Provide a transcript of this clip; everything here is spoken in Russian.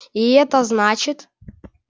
и это значит